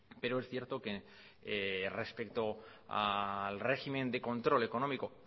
pero es cierto que respecto al régimen de control económico